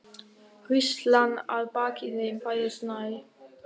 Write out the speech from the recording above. Hríslan að baki þeim færðist nær.